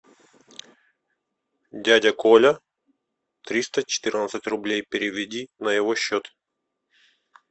дядя коля триста четырнадцать рублей переведи на его счет